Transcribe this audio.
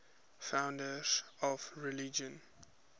founders of religions